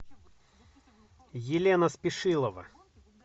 елена спешилова